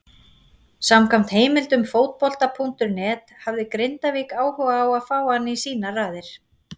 Samkvæmt heimildum Fótbolta.net hafði Grindavík áhuga á að fá hann í sínar raðir.